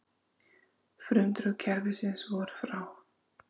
Frumdrög kerfisins voru frá